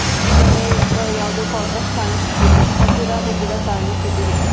ಈ ಕಡೆ ಯಾವುದೋ ಕ್ವಾಟರ್ಸ್ ಕಾಣಿಸುತ್ತಿದೆ ಹಸಿರಾದ ಗಿಡ ಕಾಣಿಸುತ್ತಿದೆ.